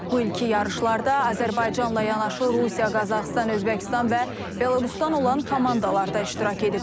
Bu ilki yarışlarda Azərbaycanla yanaşı Rusiya, Qazaxıstan, Özbəkistan və Belarusdan olan komandalar da iştirak ediblər.